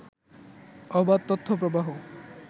অবাধ তথ্য প্রবাহ